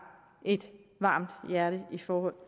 et varmt hjerte i forhold